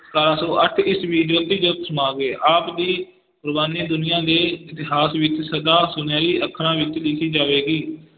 ਸਤਾਰਾਂ ਸੌ ਅੱਠ ਈਸਵੀ ਜੋਤੀ ਜੋਤ ਸਮਾ ਗਏ, ਆਪ ਦੀ ਕੁਰਬਾਨੀ ਦੁਨੀਆਂ ਦੇ ਇਤਿਹਾਸ ਵਿੱਚ ਸਦਾ ਸੁਨਿਹਰੀ ਅੱਖਰਾਂ ਵਿੱਚ ਲਿਖੀ ਜਾਵੇਗੀ।